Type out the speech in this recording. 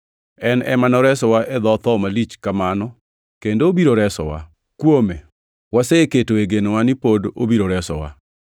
En ema noseresowa e dho tho malich kamano kendo obiro resowa. Kuome waseketoe genowa ni pod obiro resowa,